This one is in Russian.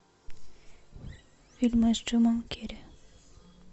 фильмы с джимом керри